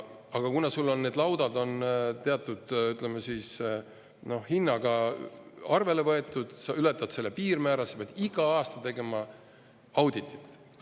Aga kui sul on need laudad teatud hinnaga arvele võetud, siis sa ületad selle piirmäära ja pead igal aastal tegema auditit.